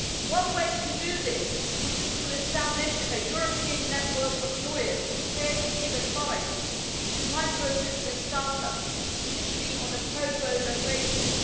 One way to do this would be to establish a European network of lawyers prepared to give advice on micro business start ups, initially on a pro bono basis.